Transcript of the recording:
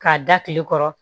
K'a da kile kɔrɔ